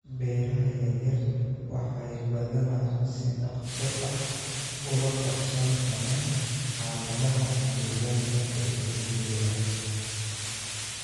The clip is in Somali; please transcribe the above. Beeraha yaryar waxay badanaa si dhakhso ah ula qabsan karaan xaaladaha deegaanka ee isbeddelaya.